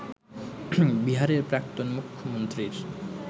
বিহারের প্রাক্তন মুখ্যমন্ত্রীর